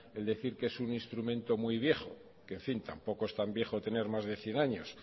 el decir que es un instrumento muy viejo que en fin tampoco es tan viejo tener más de cien años